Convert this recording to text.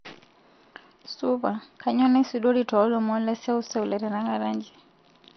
supa kainyio naisudori toolomon leseuseu letenakata nji